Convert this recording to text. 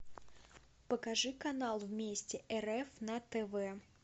покажи канал вместе рф на тв